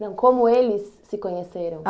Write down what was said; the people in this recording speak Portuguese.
Não, como eles se conheceram. Ah